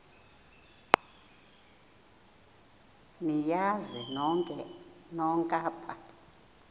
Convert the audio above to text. niyazi nonk apha